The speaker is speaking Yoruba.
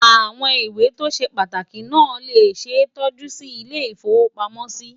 àwọn ìwé tó ṣé pàtàkì nà lè ṣé tọjú Si ilé ifowo pàmò sí